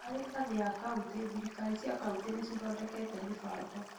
Harĩ ngathĩ ya kauntĩ, thirikari cia kauntĩ nĩ cithondekete mĩbango